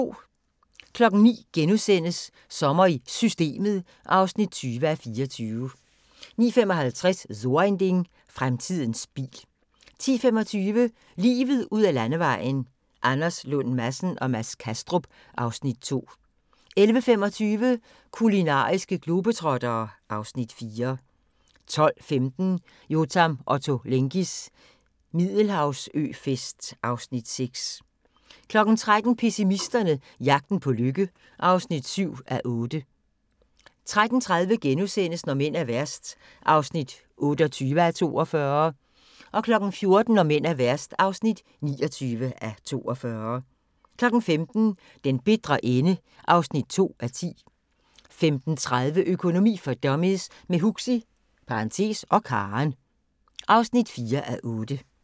09:00: Sommer i Systemet (20:24)* 09:55: So ein Ding: Fremtidens bil 10:25: Livet ud ad landevejen: Anders Lund Madsen og Mads Kastrup (Afs. 2) 11:25: Kulinariske globetrottere (Afs. 4) 12:15: Yotam Ottolenghis middelhavsøfest (Afs. 6) 13:00: Pessimisterne - jagten på lykke (7:8) 13:30: Når mænd er værst (28:42)* 14:00: Når mænd er værst (29:42) 15:00: Den bitre ende (2:10) 15:30: Økonomi for dummies – med Huxi (og Karen) (4:8)